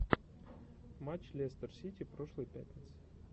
матч лестер сити прошлой пятницы